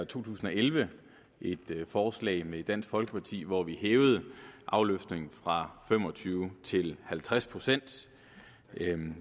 to tusind og elleve et forslag med dansk folkeparti hvor vi hævede afløftningen fra fem og tyve til halvtreds procent